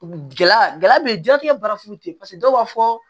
Gɛlɛya gɛlɛya bɛ ye diɲɛlatigɛ baara foyi tɛ paseke dɔw b'a fɔ